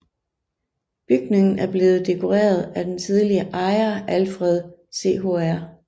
Bygningen er blevet dekoreret af den tidligere ejer Alfred Chr